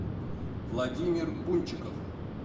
владимир бунчиков